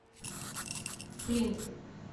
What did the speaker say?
флинт